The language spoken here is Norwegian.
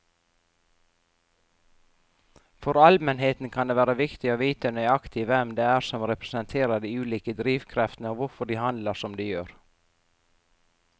For allmennheten kan det være viktig å vite nøyaktig hvem det er som representerer de ulike drivkreftene og hvorfor de handler som de gjør.